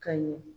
Ka ɲɛ